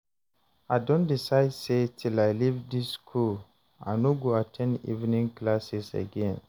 I don decide say till I leave dis school I no go at ten d evening classes again